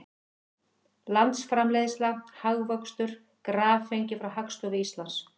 Landsframleiðsla, hagvöxtur, graf fengið frá Hagstofu Íslands.